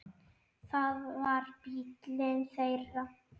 Það var bíllinn þeirra.